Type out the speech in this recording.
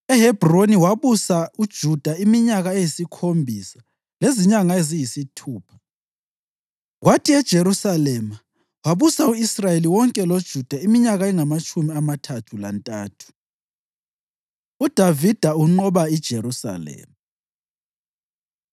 EHebhroni wabusa uJuda iminyaka eyisikhombisa lezinyanga eziyisithupha, kwathi eJerusalema wabusa u-Israyeli wonke loJuda iminyaka engamatshumi amathathu lantathu. UDavida Unqoba IJerusalema